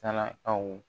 Sarakaw